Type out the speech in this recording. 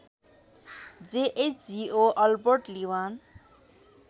जेएचजिओ Albert लीवान